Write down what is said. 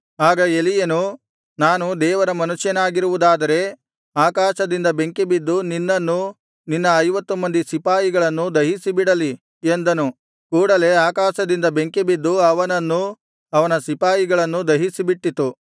ಆಗ ಎಲೀಯನು ನಾನು ದೇವರ ಮನುಷ್ಯನಾಗಿರುವುದಾದರೆ ಆಕಾಶದಿಂದ ಬೆಂಕಿಬಿದ್ದು ನಿನ್ನನ್ನೂ ನಿನ್ನ ಐವತ್ತು ಮಂದಿ ಸಿಪಾಯಿಗಳನ್ನೂ ದಹಿಸಿಬಿಡಲಿ ಎಂದನು ಕೂಡಲೆ ಆಕಾಶದಿಂದ ಬೆಂಕಿ ಬಿದ್ದು ಅವನನ್ನೂ ಅವನ ಸಿಪಾಯಿಗಳನ್ನೂ ದಹಿಸಿಬಿಟ್ಟಿತು